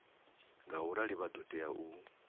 ngaurali vha ḓo tea u